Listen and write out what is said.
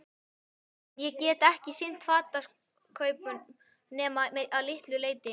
En ég get ekki sinnt fatakaupum nema að litlu leyti.